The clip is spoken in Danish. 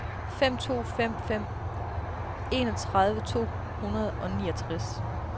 fem to fem fem enogtredive to hundrede og niogtres